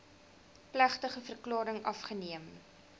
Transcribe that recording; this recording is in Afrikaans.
plegtige verklaring afgeneem